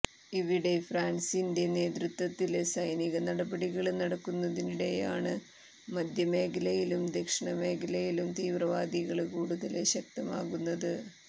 ഇവിടെ ഫ്രാന്സിന്റെ നേതൃത്വത്തില് സൈനിക നടപടികള് നടക്കുന്നതിനിടെയാണ് മധ്യ മേഖലയിലും ദക്ഷിണ മേഖലയിലും തീവ്രവാദികള് കൂടുതല് ശക്തമാകുന്നത്